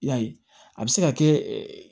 I y'a ye a bɛ se ka kɛ